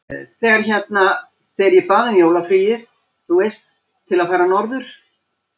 Þegar hérna. þegar ég bað um jólafríið, þú veist. til að fara norður.